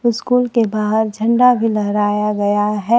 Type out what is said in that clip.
School के बाहर झंडा भी लहराया गया है।